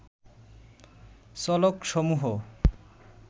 চলক সমূহ